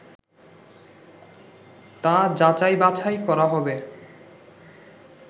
তা যাচাই বাছাই করা হবে